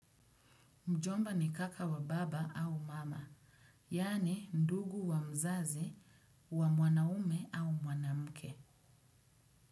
Mjomba ni kaka wa baba au mama, yaani ndugu wa mzazi, wa mwanaume au mwanamke.